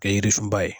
Kɛ yiri sunba ye